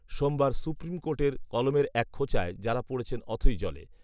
সোমবার সুপ্রিম কোর্টের কলমের এক খোঁচায় যাঁরা পড়েছেন অথৈ জলে